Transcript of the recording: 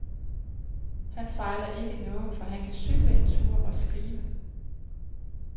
Han fejler ikke noget, for han kan cykle en tur og skrive.